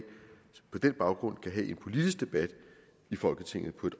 på den baggrund kan have en politisk debat i folketinget på